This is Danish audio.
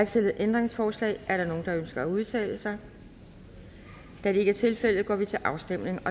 stillet ændringsforslag er der nogen der ønsker at udtale sig da det ikke er tilfældet går vi til afstemning